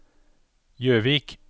Jøvik